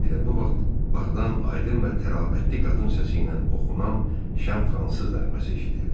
Elə bu vaxt bağdan aydın və təravətli qadın səsi ilə oxunan şən fransız nəğməsi eşidildi.